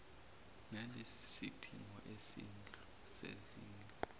nalesi sidingo sezindlu